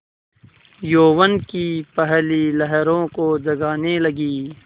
यौवन की पहली लहरों को जगाने लगी